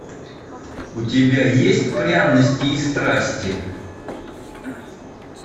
у тебя есть пряности и страсти